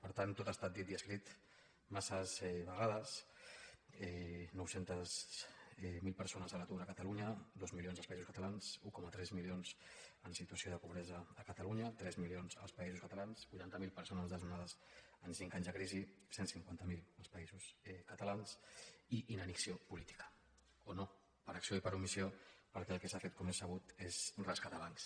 per tant tot ha estat dit i escrit massa vegades nou cents miler persones a l’atur a catalunya dos milions als països catalans un coma tres milions en situació de pobresa a catalunya tres milions als països catalans vuitanta miler persones desnonades en cinc anys de crisi cent i cinquanta miler als països catalans i inacció política o no per acció i per omissió perquè el que s’ha fet com és sabut és rescatar bancs